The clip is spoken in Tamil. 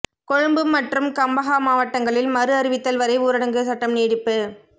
கொழும்பு மற்றும் கம்பஹா மாவட்டங்களில் மறு அறிவித்தல் வரை ஊரடங்கு சட்டம் நீடிப்பு